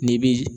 N'i bi